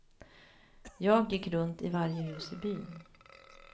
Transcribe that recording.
Jag gick runt i varje hus i byn.